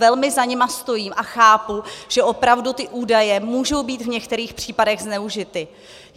Velmi za nimi stojím a chápu, že opravdu ty údaje můžou být v některých případech zneužity.